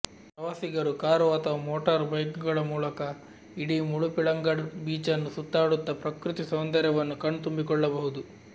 ಪ್ರವಾಸಿಗರು ಕಾರು ಅಥವಾ motor bike ಗಳ ಮೂಲಕ ಇಡೀ ಮುಳುಪಿಳಂಗಡ್ ಬೀಚನ್ನು ಸುತ್ತಾಡುತ್ತಾ ಪ್ರಕೃತಿ ಸೌಂದರ್ಯವನ್ನು ಕಣ್ ತುಂಬಿಕೊಳ್ಳಬಹುದು